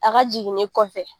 A ka jiginni kɔfɛ